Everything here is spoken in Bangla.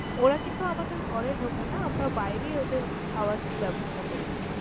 ওরা কিন্তু আমাদের ঘরে ঢোকে না, আমারা বাইরে ওদের খাবার ব্যবস্থা করে দেই।